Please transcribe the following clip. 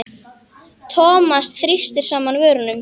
Thomas þrýsti saman vörum.